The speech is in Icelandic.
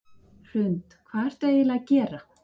Hrund: Hvað ertu eiginlega að gera?